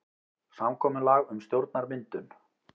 Samkomulag um stjórnarmyndun